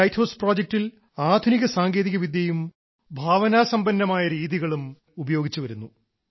ഈ lighthouse പ്രോജക്റ്റിൽ ആധുനിക സാങ്കേതികവിദ്യയും ഭാവനാസമ്പന്നവുമായ രീതികൾ ഉപയോഗിച്ചുവരുന്നു